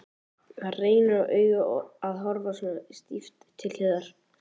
Það reynir á augun að horfa svona stíft til hliðar.